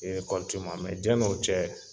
yani o cɛ